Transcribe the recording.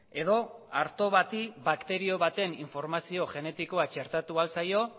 edo arto bati bakterio baten informazio genetikoa txertatu ahal zaio